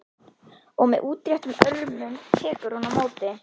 Og með útréttum örmum tekur hún á móti.